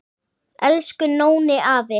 Elsku Nóni afi.